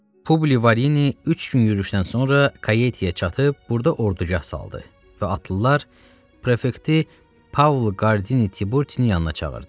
Publi Varini üç gün yürüşdən sonra Kaietiyə çatıb, burda ordugah saldı və atlılar prefekti Pau Gordininin yanına çağırdı.